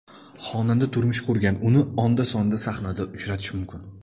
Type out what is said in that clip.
Xonanda turmush qurgan, uni onda-sonda sahnada uchratish mumkin.